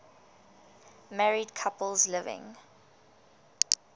married couples living